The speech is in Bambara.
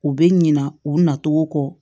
U bɛ ɲina u na cogo kɔ